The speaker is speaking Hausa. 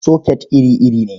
Soket iri-iri ne.